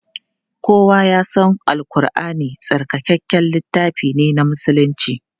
Kowa ya san Al Ƙurʼani tsarkakakken littafi ne na musulunci.